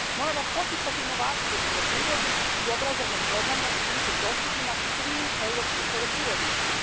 Moramo poticati inovacije u poljoprivredi i obrazovne programe učiniti dostupnima svim europskim poljoprivrednicima.